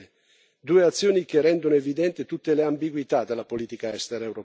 Due azioni che rendono evidente tutte le ambiguità della politica estera europea.